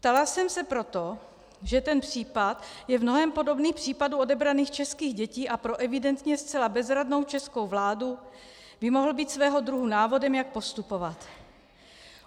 Ptala jsem se proto, že ten případ je v mnohém podobný případu odebraných českých dětí a pro evidentně zcela bezradnou českou vládu by mohl být svého druhu návodem, jak postupovat.